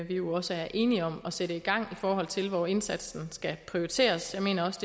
jo også er enige om at sætte gang for at se hvor indsatsen skal prioriteres jeg mener også